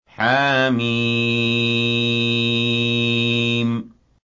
حم